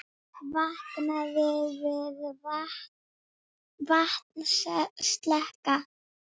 Vaknaði við vatnsleka